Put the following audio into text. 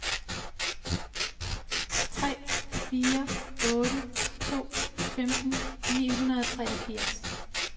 tre fire otte to femten ni hundrede og treogfirs